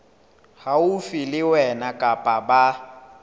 haufi le wena kapa ba